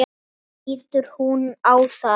Þannig lítur hún á það.